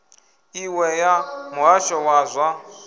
iṅwe ya muhasho wa zwa